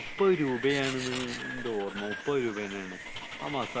മുപ്പത് രൂപയാണ് മുപ്പത് രൂപയാണ് എന്നാണ് എന്റെ ഓർമ്മ മുപ്പത് രൂപയാണ്